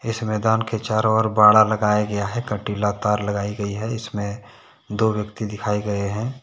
इस मैदान के चारों ओर बाड़ा लगाया गया है काटिला तार लगाई गई है इसमें दो व्यक्ति दिखाए गए हैं ।